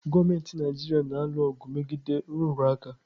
Gọọmenti Naijiria na-alụ ọgụ megide nrụrụ aka.